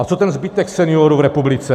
A co ten zbytek seniorů v republice?